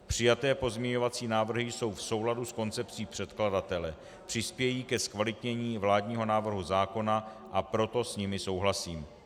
Přijaté pozměňovací návrhy jsou v souladu s koncepcí předkladatele, přispějí ke zkvalitnění vládního návrhu zákona, a proto s nimi souhlasím.